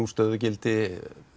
stöðugildi